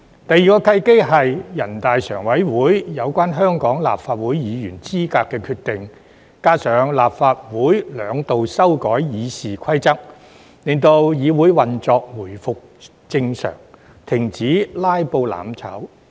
第二個契機是全國人大常委會有關香港立法會議員資格的決定，加上立法會兩度修改《議事規則》，令議會運作回復正常，停止"拉布"、"攬炒"。